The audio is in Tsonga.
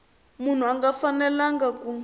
munhu a nga fanelanga ku